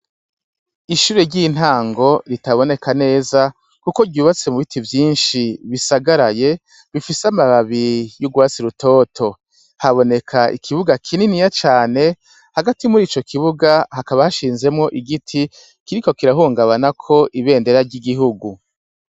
Ishure ry'intango ritaboneka neza, kuko ryubatse mu biti vyinshi bisagaraye bifise amababi y'urwasi rutoto haboneka ikibuga kininiya cane hagati muri ico kibuga hakaba hashinzemwo igiti kiri ko kirahungabanako ibendera ry'igihugu.